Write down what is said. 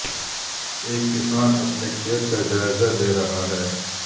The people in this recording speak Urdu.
ایک کسان اپنے کھیت کا جائزہ لے رہا ہے